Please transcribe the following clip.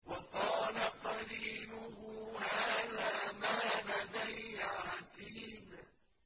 وَقَالَ قَرِينُهُ هَٰذَا مَا لَدَيَّ عَتِيدٌ